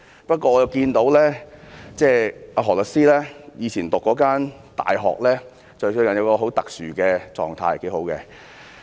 不過，我看到何律師以前就讀的大學最近有一個很特殊的狀態，是不錯的。